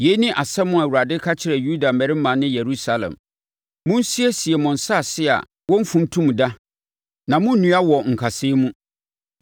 Yei ne asɛm a Awurade ka kyerɛ Yuda mmarima ne Yerusalem: “Monsiesie mo asase a wɔmfuntum da na monnnua wɔ nkasɛɛ mu.